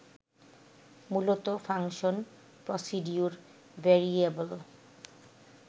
মূলত function, procedure, variable